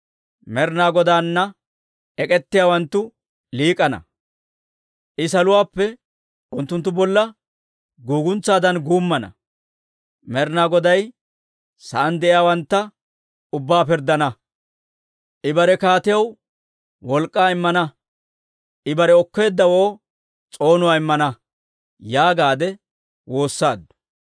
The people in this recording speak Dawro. Med'inaa Godaana ek'k'ettiyaawanttu liik'ana. I saluwaappe unttunttu bolla guguntsaadan guummana; Med'inaa Goday sa'aan de'iyaawantta ubbaa pirddana. «I bare kaatiyaw wolk'k'aa immana; I bare okkeeddawoo s'oonuwaa immana» yaagaadde woossaaddu.